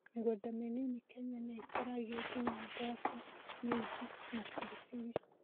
Mĩgũnda mĩnini Kenya nĩĩkũragia nginya mboco, minji, na biribiri